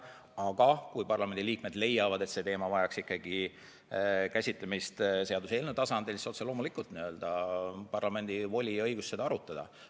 Aga kui parlamendi liikmed leiavad, et see teema vajaks ikkagi käsitlemist seaduseelnõu tasandil, siis otse loomulikult, parlamendi voli ja õigus on seda arutada.